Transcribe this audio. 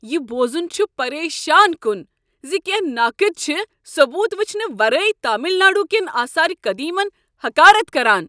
یہ بوزن چھ پریشان کن ز کینٛہہ ناقد چھ ثبوت وچھنہٕ ورٲے تامل ناڈوٗ کین آثار قٔدیمن حقارت کران۔